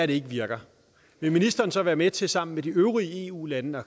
det ikke virker vil ministeren så være med til sammen med de øvrige eu lande at